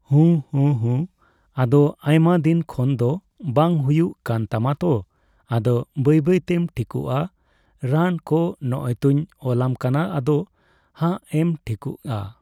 ᱦᱩᱸ, ᱦᱩᱸ. ᱦᱩᱸ᱾ ᱟᱫᱚ ᱟᱭᱢᱟ ᱫᱤᱱ ᱠᱷᱚᱱ ᱫᱚ ᱵᱟᱝ ᱦᱩᱭᱩᱜ ᱠᱟᱱ ᱛᱟᱢᱟ ᱛᱚ ᱾ ᱟᱫᱚ ᱵᱟᱹᱭ ᱵᱟᱹᱭᱛᱮᱢ ᱴᱷᱤᱠᱚᱜᱼᱟ ᱾ ᱨᱟᱱ ᱠᱚ ᱱᱚᱜᱼᱚᱭ ᱛᱩᱧ ᱚᱞᱟᱢ ᱠᱟᱱᱟ ᱟᱫᱚ ᱦᱟᱸᱜ ᱮᱢ ᱴᱷᱤᱠᱚᱜᱼᱟ ᱾